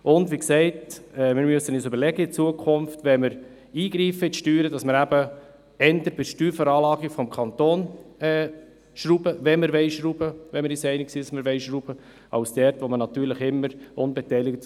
Wenn wir in die Steuern eingreifen, müssen wir uns in Zukunft überlegen, dass wir eher an der Steuerveranlagung des Kantons schrauben, wenn wir uns einig sind, dass wir schrauben wollen, also dort, wo man natürlich immer unbeteiligt